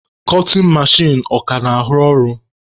Kọtin mechin ọ ka na-arụ ọrụ?